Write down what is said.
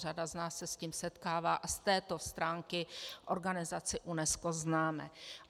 Řada z nás se s tím setkává a z této stránky organizaci UNESCO známe.